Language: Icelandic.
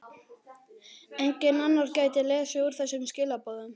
Enginn annar gæti lesið úr þessum skilaboðum.